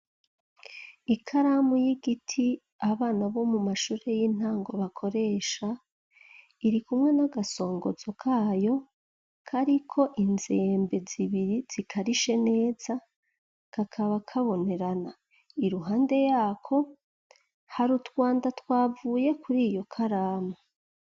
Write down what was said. Ikaramu y'igiti abana bo mu mashure y'intango bakoresha, irikumwe n'agasongozo kayo kariko inzembe zibiri zikarishe neza ,kakaba kabonerana, iruhande yako hari utwanda twavuye kuriyo karamu.